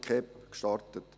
KEP» geschaffen.